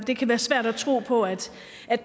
det kan være svært at tro på at